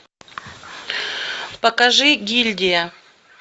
покажи гильдия